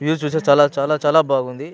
View చూస్తే చాలా చాలా చాలా బాగుంది.